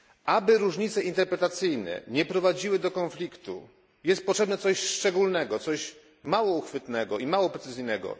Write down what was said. Aby różnice interpretacyjne nie prowadziły do konfliktu, jest potrzebne coś szczególnego, coś mało uchwytnego i mało precyzyjnego.